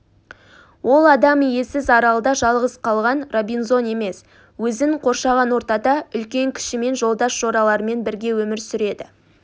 ол адам иесіз аралда жалғыз қалған робинзон емес өзін қоршаған ортада үлкен-кішімен жолдас-жораларымен бірге өмір сүреді